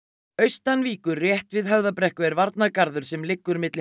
austan Víkur rétt við Höfðabrekku er varnargarður sem liggur milli